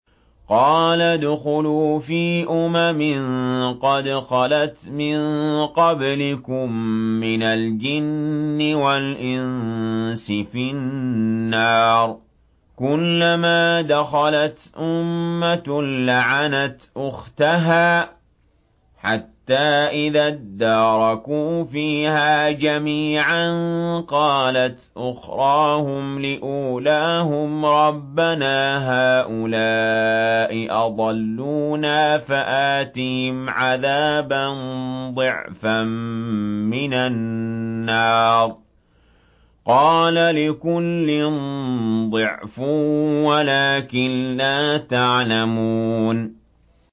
قَالَ ادْخُلُوا فِي أُمَمٍ قَدْ خَلَتْ مِن قَبْلِكُم مِّنَ الْجِنِّ وَالْإِنسِ فِي النَّارِ ۖ كُلَّمَا دَخَلَتْ أُمَّةٌ لَّعَنَتْ أُخْتَهَا ۖ حَتَّىٰ إِذَا ادَّارَكُوا فِيهَا جَمِيعًا قَالَتْ أُخْرَاهُمْ لِأُولَاهُمْ رَبَّنَا هَٰؤُلَاءِ أَضَلُّونَا فَآتِهِمْ عَذَابًا ضِعْفًا مِّنَ النَّارِ ۖ قَالَ لِكُلٍّ ضِعْفٌ وَلَٰكِن لَّا تَعْلَمُونَ